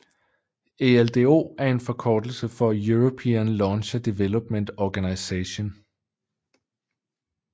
ELDO er en forkortelse for European Launcher Development Organisation